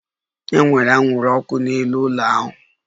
E nwere anwụrụ ọkụ n'elu ụlọala